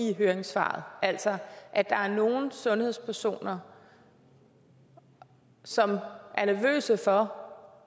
i høringssvaret altså at der er nogle sundhedspersoner som er nervøse for